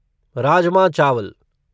राजमा चावल